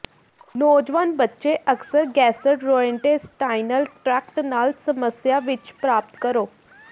ਨੌਜਵਾਨ ਬੱਚੇ ਅਕਸਰ ਗੈਸਟਰ੍ੋਇੰਟੇਸਟਾਈਨਲ ਟ੍ਰੈਕਟ ਨਾਲ ਸਮੱਸਿਆ ਵਿੱਚ ਪ੍ਰਾਪਤ ਕਰੋ